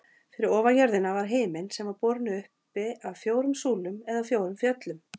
Fyrir ofan jörðina var himinn sem var borinn uppi af fjórum súlum eða fjórum fjöllum.